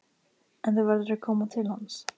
En þú verður að koma til hans.